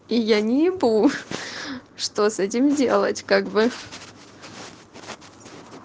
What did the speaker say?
и я не ебу что с этим делать как бы